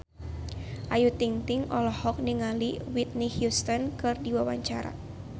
Ayu Ting-ting olohok ningali Whitney Houston keur diwawancara